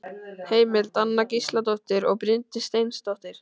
Heimild: Anna Gísladóttir og Bryndís Steinþórsdóttir.